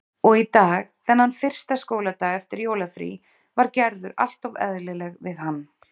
Og í dag, þennan fyrsta skóladag eftir jólafrí, var Gerður alltof eðlileg við hann.